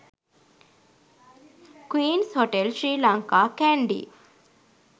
queens hotel sri lanka kandy